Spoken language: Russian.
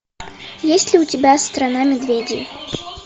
есть ли у тебя страна медведей